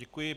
Děkuji.